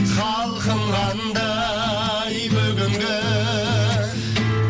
халқым қандай бүгінгі